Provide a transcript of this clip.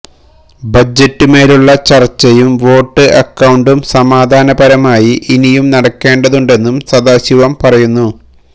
ബജറ്റിന് മേലുള്ള ചർച്ചയും വോട്ട് അക്കൌണ്ടും സമാധാന പരമായി ഇനിയും നടക്കേണ്ടതുണ്ടെന്നും സദാശിവം പറയുന്നു